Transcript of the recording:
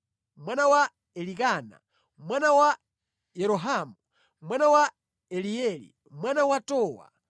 mwana wa Elikana, mwana wa Yerohamu, mwana wa Elieli, mwana wa Towa,